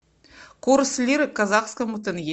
курс лиры к казахскому тенге